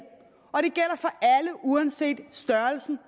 uanset størrelsen